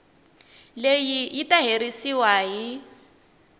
leyi yi ta herisiwa hi